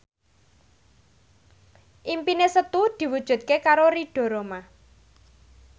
impine Setu diwujudke karo Ridho Roma